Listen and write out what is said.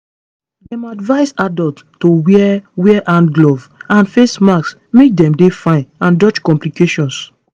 dem advise adults to wear wear hand gloves and face masks make dey fine and dodge complications